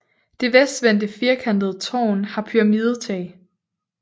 Det vestvendte firkantede tårn har pyramidetag